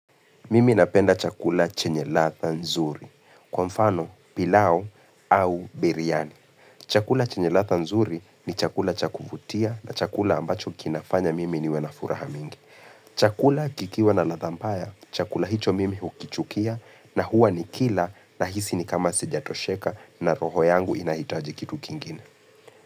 Mimi napenda chakula chenye latha nzuri, kwa mfano pilau au biriani. Chakula chenye latha nzuri ni chakula chakuvutia na chakula ambacho kinafanya mimi niwe na furaha mingi. Chakula kikiwa na latha mbaya, chakula hicho mimi hukichukia na huwa ni kila na hisi ni kama sijatosheka na roho yangu inahitaji kitu kingine.